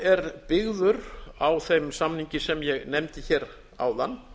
er byggður á þeim samningi sem ég nefndi hér áðan